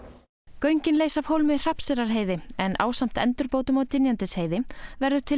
göngin leysa af hólmi Hrafnseyrarheiði en ásamt endurbótum á Dynjandisheiði verður til